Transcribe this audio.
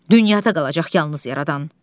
Dünyada qalacaq yalnız yaradan.